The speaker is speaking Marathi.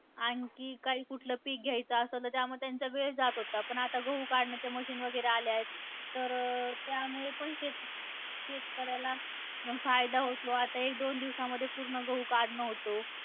आणखी काही कुठलं पिक घ्यायचं आसंल तर त्यामध्ये त्यांचा वेळ जात होता, पण आता गहू काढण्याच्या machine वगैरे आल्यायत तर, त्यामुळे पण शेत शेतकऱ्याला फायदा होतो. आता एक दोन दिवसामध्ये पूर्ण गहू काढणं होतो.